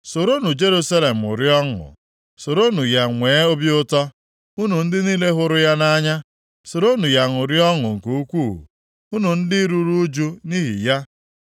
“Soronụ Jerusalem ṅụrịa ọṅụ, soronụ ya nwee obi ụtọ, unu ndị niile hụrụ ya nʼanya; soronụ ya ṅụrịa ọṅụ nke ukwuu, unu ndị ruru ụjụ nʼihi ya.